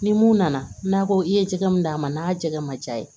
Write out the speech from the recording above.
Ni mun nana n'a ko i ye jɛgɛ mun d'a ma n'a jɛgɛ ma diya ye